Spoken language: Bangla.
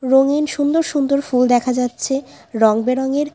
রঙিন সুন্দর সুন্দর ফুল দেখা যাচ্ছে রংবেরঙের।